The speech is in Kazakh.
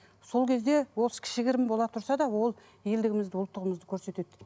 сол кезде осы кішігірім бола тұрса да ол елдігімізді ұлттығымызды көрсетеді